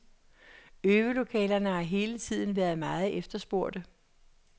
Øvelokalerne har hele tiden været meget efterspurgte.